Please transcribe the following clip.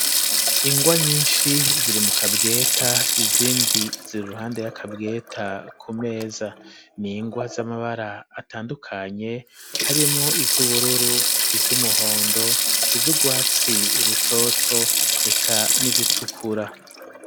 Ingwa nyinshi ziri mu kabweta izindi ziri ruhande y'akabweta ku meza ningwa z'amabara atandukanye harimwo iz'ubururu iz'umuhondo izugwatsi rutoto eka n'izitukura.